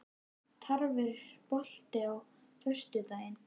Tarfur, er bolti á föstudaginn?